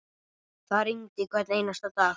Það rigndi hvern einasta dag.